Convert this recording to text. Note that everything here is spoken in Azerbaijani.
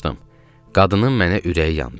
Qadının mənə ürəyi yandı.